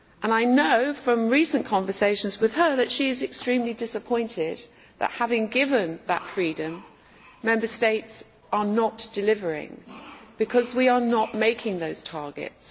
I know from recent conversations with her that she is extremely disappointed that, having been given that freedom, Member States are not delivering, because we are not making those targets.